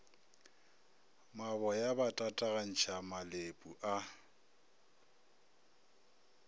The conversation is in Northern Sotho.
maboya ba tatagantšha malepu a